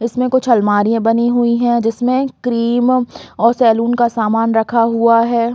इसमें कुछ अलमारीया बनी हुई है जिसमें क्रीम और सेलून का सामान रखा हुआ है।